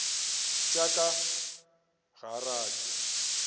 tša ka ga a rate